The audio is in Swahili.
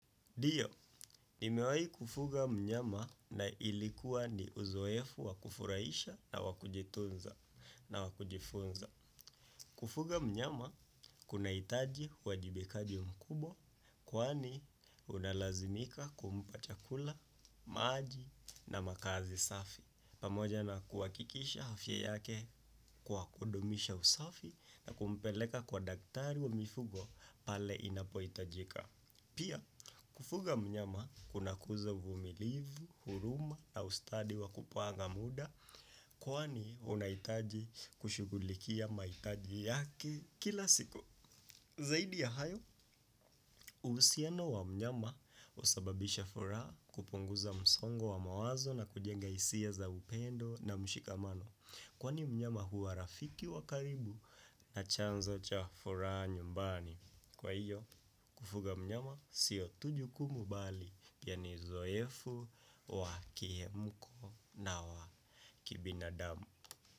Dio, nimewai kufuga mnyama na ilikuwa ni uzoefu wa kufurahisha na wakujitunza. Kufuga mnyama kuna hitaji uwajibikaji mkubwa, kwani unalazimika kumpa chakula, maji na makaazi safi. Pamoja na kuhakikisha hafya yake kwa kudumisha usafi na kumpeleka kwa daktari wa mifugo pale inapohitajika. Pia, kufuga mnyama kuna kuza uvumilivu, huruma na ustadi wa kupanga muda, kwani unahitaji kushugulikia mahitaji yake kila siku. Zaidi ya hayo, uhjsiano wa mnyama husababisha furaha kupunguza msongo wa mawazo na kujenga hisia za upendo na mshikamano, kwani mnyama hua rafiki wakaribu na chanzo cha furaha nyumbani. Kwa hiyo, kufuga mnyama sio tu jukumu bali pia ni uzoefu wa kie mko na wa kibinadamu.